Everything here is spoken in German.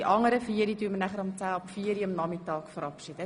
Die anderen vier Leute werden wir nachmittags um 16.10 Uhr verabschieden.